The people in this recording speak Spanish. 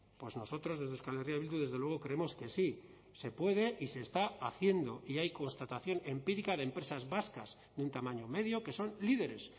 pues nosotros desde euskal herria bildu desde luego creemos que sí se puede y se está haciendo y hay constatación empírica de empresas vascas de un tamaño medio que son líderes